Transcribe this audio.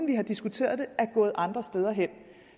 vi har diskuteret det er gået andre steder hen